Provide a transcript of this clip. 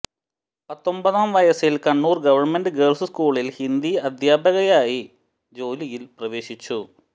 പത്തൊമ്പതാം വയസ്സിൽ Kannur government girls സ്കൂളിൽ ഹിന്ദി അദ്ധ്യാപകയായി ജോലിയിൽ പ്രവേശിച്ചു